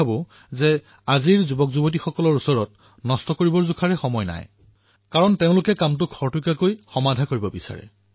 এইবাবেই আজিৰ যুৱসমাজে অধিকতম ৰূপত উদ্ভাৱন কৰিবলৈ সমৰ্থ হয় কিয়নো তেওঁলোকে কামবোৰ শীঘ্ৰে সমাপন হোৱাটো বিচাৰে